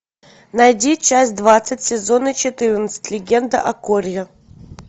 найди часть двадцать сезона четырнадцать легенда о корре